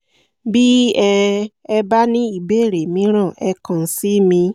bí um ẹ bá ní ìbéèrè mìíràn ẹ kàn sí mi